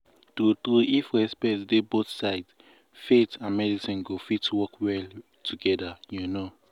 true true if respect dey both sides faith and medicine go fit work well together you know.